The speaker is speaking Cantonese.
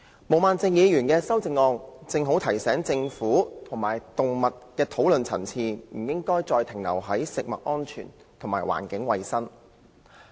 毛孟靜議員的修正案，正好提醒政府及參與動物討論的人士，不應再停留在食物安全及環境衞生的層面。